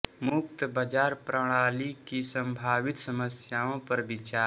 मुक्त बाजार प्रणाली की संभावित समस्याओं पर विचार